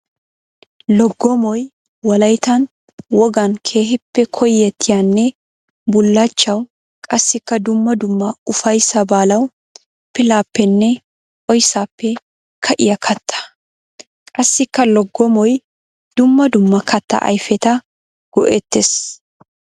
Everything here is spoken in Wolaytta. Loggommoy wolayttan wogan keehippe koyettiyanne bulachchawu qassikka dumma dumma ufayssa baalawu pillappenne oyssappe ka'iya katta. Qassikka loggommoy dumma dumma katta ayfetta go'ettees.